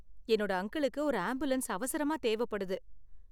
என்னோட அங்கிளுக்கு ஒரு ஆம்புலன்ஸ் அவசரமா தேவைப்படுது.